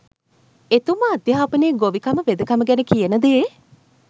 එතුමා අධ්‍යාපනය ගොවිකම වෙදකම ගැන කියන දේ